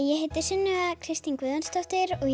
ég heiti Sunneva Kristín Guðjónsdóttir og